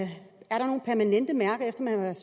man har været